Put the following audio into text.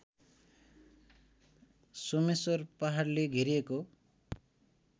सोमेश्वर पहाडले घेरिएको